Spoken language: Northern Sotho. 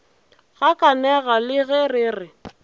gakanega le ge re re